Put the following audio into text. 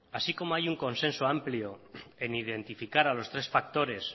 así como hay un consenso amplio en identificar a los tres factores